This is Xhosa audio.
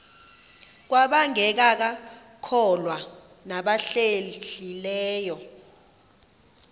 kwabangekakholwa nabahlehli leyo